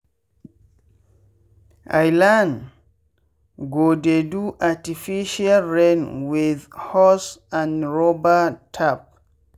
i learn go dey do artificial rain with hose and rubber tap.